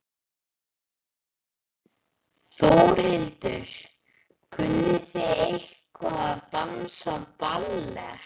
Þórhildur: Kunnið þið eitthvað að dansa ballett?